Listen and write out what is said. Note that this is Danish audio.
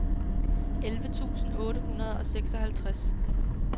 elleve tusind otte hundrede og seksoghalvtreds